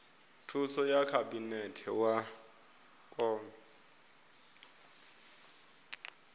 thuso ya khabinete wa kona